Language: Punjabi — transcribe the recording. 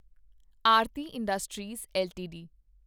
Aarti industries LTD